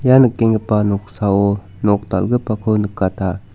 ia nikenggipa noksao nok dal·gipako nikata.